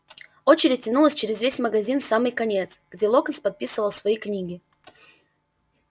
очередь тянулась через весь магазин в самый конец где локонс подписывал свои книги